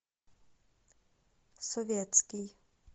советский